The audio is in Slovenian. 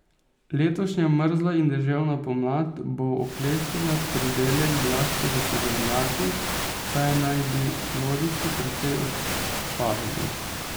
Letošnja mrzla in deževna pomlad bo oklestila pridelek zlasti v sadovnjakih, saj naj bi plodiči precej odpadali.